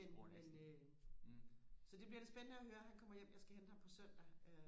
men men øh så det bliver da spændende og høre kan kommer hjem jeg skal hente ham på søndag øh